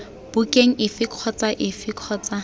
bukeng efe kgotsa efe kgotsa